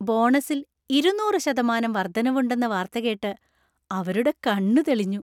ബോണസിൽ ഇരുന്നൂറ് ശതമാനം വർദ്ധനവ് ഉണ്ടെന്ന വാർത്ത കേട്ട് അവരുടെ കണ്ണു തെളിഞ്ഞു.